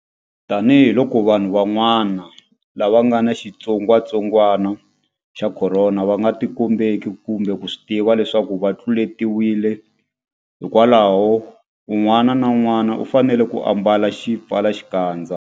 Tanihiloko vanhu van'wana lava nga ni xitsongwantsongwana xa Khorona va nga tikombeki kumbe ku swi tiva leswaku va tluletiwile, hikwalaho un'wana na un'wana u fanele ku ambala xipfalaxikandza.